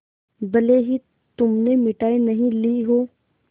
भले ही तुमने मिठाई नहीं ली हो